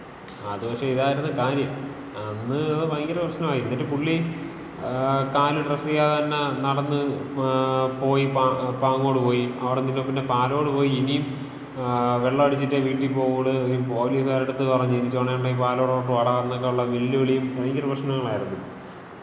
അത് പക്ഷെ ഇതാരിന്ന് കാര്യം. അന്ന് ഭയങ്കര പ്രശ്നമായി. എന്നിട്ട് പുള്ളി കാല് ഡ്രസ് ചെയ്യാതെ തന്നെ നടന്ന് പോയി, പാങ്ങോട് പോയി. അവിടന്ന് പിന്നെ പാലോട് പോയി. ഇനീം വെള്ളടിച്ചിട്ടേ വീട്ടി പോകുള്ളൂ എന്ന് പൊലീസാരട്ത്ത് പറഞ്ഞ്, ഇനി ചുണഉണ്ടെങ്കില് പാലോടോട്ട് വാടാ എന്നൊക്കെയുള്ള വെല്ലുവിളിയും, ഭയങ്കര പ്രശ്നങ്ങളുമായിരുന്നു.